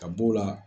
Ka b'o la